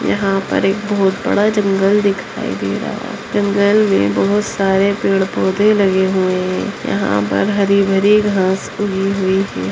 यहाँ पर एक बहोत बड़ा जंगल दिखाई दे रहा जंगल मे बहोत सारे पेड़-पौधे लगे हुए है यहाँ पर हरी-भरी घास उगी हुई है।